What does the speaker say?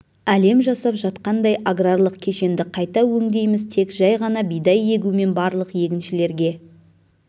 әлем жасап жатқандай аграрлық кешенді қайта өңдейміз тек жай ғана бидай егу мен барлық егіншілерге